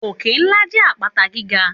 Òkè ńlá jẹ́ àpáta gíga